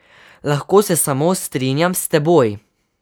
Lahko se samo strinjam s teboj.